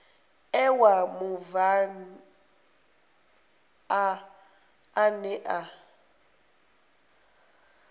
ṋewa mubvann ḓa ane a